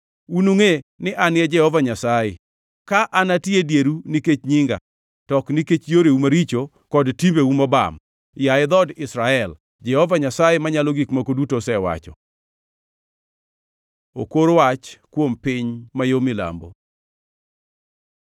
Unungʼe ni An e Jehova Nyasaye, ka anati e dieru nikech nyinga, to ok nikech yoreu maricho kod timbeu mobam, yaye dhood Israel, Jehova Nyasaye Manyalo Gik Moko Duto osewacho.” Okor wach kuom piny ma yo milambo